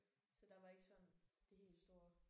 Så der var ikke sådan det helt store